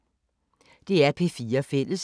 DR P4 Fælles